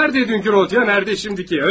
Haradaydı dünənki Rodion, haradadı şimdiki?